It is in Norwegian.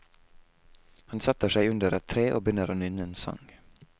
Han setter seg under et tre og begynner å nynne en sang.